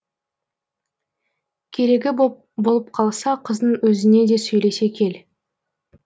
керегі болып қалса қыздың өзіне де сөйлесе кел